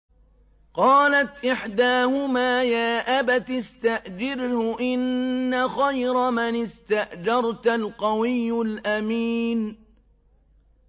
قَالَتْ إِحْدَاهُمَا يَا أَبَتِ اسْتَأْجِرْهُ ۖ إِنَّ خَيْرَ مَنِ اسْتَأْجَرْتَ الْقَوِيُّ الْأَمِينُ